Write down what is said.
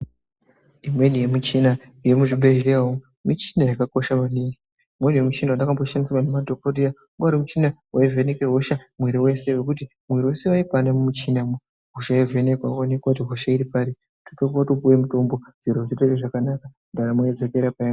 Imweni yemichina irimo muzvibhedhleya umu michina yakakosha maningi. Umweni muchina wandakamboshandisirwa nemadhogodheya wanga uri muchina waivheneke hosha muiri wese wekuti mwiiri wese waikwane mumuchinamwo. Hosha yovhenekwa, woonekwa kuti hosha iri pari. Wototanga kutopuwe mutombo, zviro zvotoite zvakanaka, ndaramo yodzokera paya....